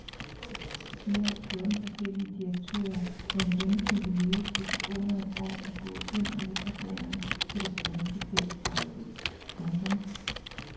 I alt fjorten forskellige direktører med en gennemsnitlig levetid på under et år er gået ind og ud ad døren på det spanske ferieparadis. punktum